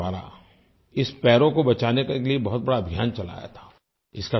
own के द्वारा sparrow को बचाने के लिये एक बहुत बड़ा अभियान चलाया था